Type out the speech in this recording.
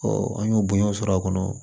an y'o bonya sɔrɔ a kɔnɔ